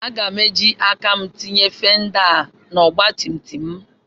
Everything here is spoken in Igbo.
Aga m eji aka m tinye fenda a na ọgbatumtum.